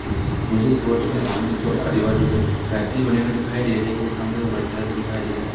मुझे इस फोटो में सामने कि ओर आजू बाजू के फैक्ट्री बनी हुई दिखाई दे रही है सामने वो वल्डक्लास दिखाई दे रहा है।